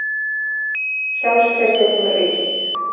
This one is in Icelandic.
Sjálfstraustið hefur aukist.